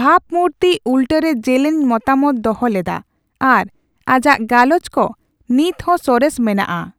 ᱵᱷᱟᱵ ᱢᱩᱨᱛᱤ ᱩᱞᱴᱟᱹᱨᱮ ᱡᱮᱞᱮᱧ ᱢᱚᱛᱟᱢᱚᱛ ᱫᱚᱦᱚ ᱞᱮᱫᱟ ᱟᱨ ᱟᱡᱟᱜ ᱜᱟᱞᱚᱪ ᱠᱚ ᱱᱤᱛᱦᱚᱸ ᱥᱚᱨᱮᱥ ᱢᱮᱱᱟᱜᱼᱟ ᱾